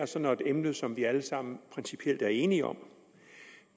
så er et emne som vi alle sammen principielt er enige om